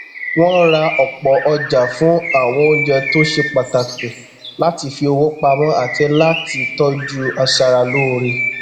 wọn ra ọpọ ọjà fún àwọn oúnjẹ tó ṣe pàtàkì láti fi owó pamọ àti láti tọjú aṣara lóore